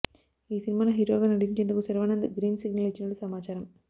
ఈ సినిమాలో హీరోగా నటించేందకు శర్వానంద్ గ్రీన్ సిగ్నల్ ఇచ్చినట్టు సమాచారం